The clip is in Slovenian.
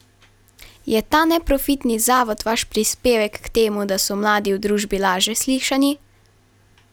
Je ta neprofitni zavod vaš prispevek k temu, da so mladi v družbi laže slišani?